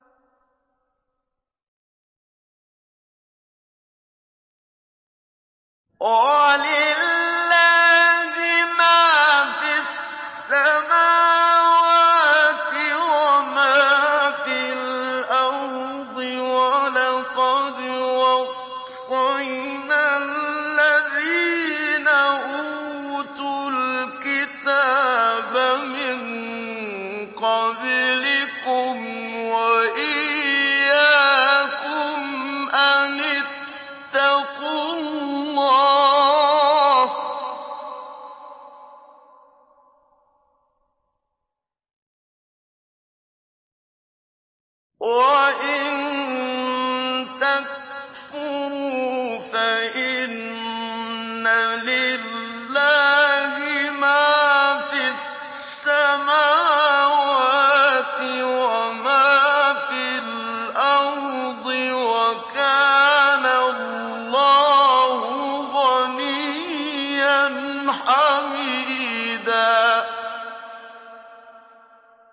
وَلِلَّهِ مَا فِي السَّمَاوَاتِ وَمَا فِي الْأَرْضِ ۗ وَلَقَدْ وَصَّيْنَا الَّذِينَ أُوتُوا الْكِتَابَ مِن قَبْلِكُمْ وَإِيَّاكُمْ أَنِ اتَّقُوا اللَّهَ ۚ وَإِن تَكْفُرُوا فَإِنَّ لِلَّهِ مَا فِي السَّمَاوَاتِ وَمَا فِي الْأَرْضِ ۚ وَكَانَ اللَّهُ غَنِيًّا حَمِيدًا